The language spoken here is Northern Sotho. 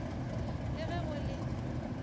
le ge ge go le